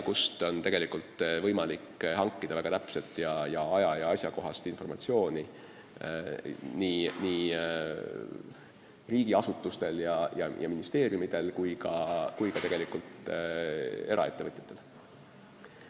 Nii on võimalik hankida väga täpset aja- ja asjakohast informatsiooni nii ministeeriumidel ja muudel riigiasutustel kui ka eraettevõtjatel.